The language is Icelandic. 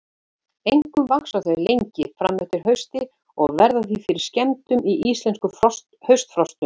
Einkum vaxa þau lengi fram eftir hausti og verða því fyrir skemmdum í íslenskum haustfrostum.